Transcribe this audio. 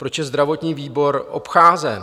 Proč je zdravotní výbor obcházen?